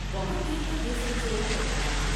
بہت دیر تک یہ سلسلہ چلتا رہا ۔